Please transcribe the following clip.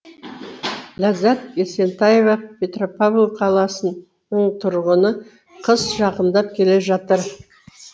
ләззат есентаева петропавл қаласының тұрғыны қыс жақындап келе жатыр